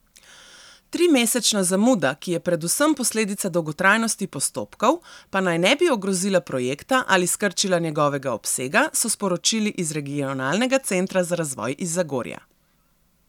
Trimesečna zamuda, ki je predvsem posledica dolgotrajnosti postopkov, pa naj ne bi ogrozila projekta ali skrčila njegovega obsega, so sporočili iz Regionalnega centra za razvoj iz Zagorja.